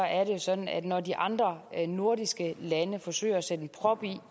er det sådan at når de andre nordiske lande forsøger at sætte en prop i